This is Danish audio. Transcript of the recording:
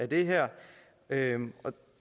det her og